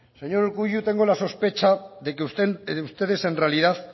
señor urkullu tengo la sospecha de que ustedes en realidad